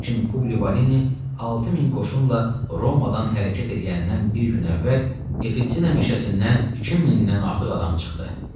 Lakin Publivareni 6000 qoşunla Romadan hərəkət eləyəndən bir gün əvvəl Etina meşəsindən 2000-dən artıq adam çıxdı.